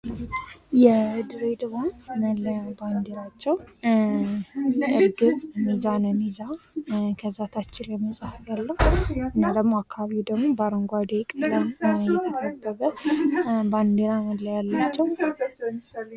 የድሬዳዋ መለያ ባንዲራቸው እርግብ ሚዛንን ይዛ ከዛ ታች ላይ መጽሃፍ ያለው እና ደግሞ አካሉ ደግሞ በአረንጓደ ቀለም የተከበበ ባንዲራ መለያ አላቸው።